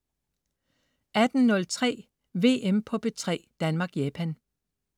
18.03 VM på P3: Danmark-Japan